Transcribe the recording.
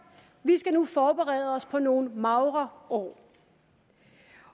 vi skal nu forberede os på nogle magre år